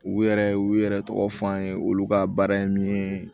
U yɛrɛ u yɛrɛ tɔgɔ fɔ an ye olu ka baara ye min ye